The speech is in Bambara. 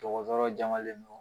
Dɔkɔtɔrɔ jalen don